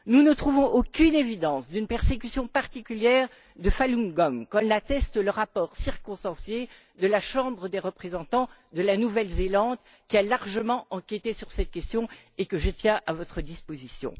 Nous ne trouvons aucun élément démontrant une persécution particulière de Falun Gong, comme l'atteste le rapport circonstancié de la Chambre des représentants de la Nouvelle Zélande, qui a largement enquêté sur cette question et que je tiens à votre disposition.